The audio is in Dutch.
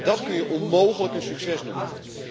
Dat kun je onmogelijk een succes noemen.